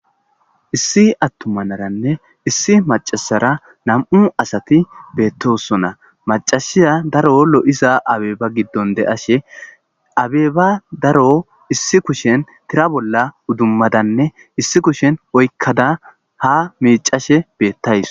issi attumanaranne issi macasara nam'u asati beettosona macashiya daro lo'iza abeba giddon de'ashe abeeba daro issi kushen tira bolla uddummadanne issi kushen oykkada ha micashe beettawus